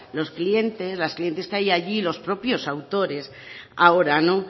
los clientes las clientas que hay allí los propios autores ahora